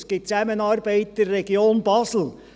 Es gibt Zusammenarbeit in der Region Basel.